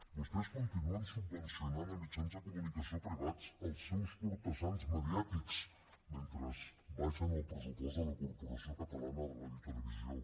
vostès continuen subvencionant mitjans de comunicació privats els seus cortesans mediàtics mentre abaixen el pressupost de la corporació catalana de radiotelevisió